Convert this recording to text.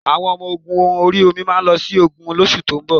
Àwọn Ọmọ ogun ori omi máa lọ sí ogun lóṣù tó ń bọ̀